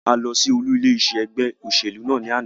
A lọ sí olú ilé iṣé ẹgbẹ́ òṣèlú náà ní àná.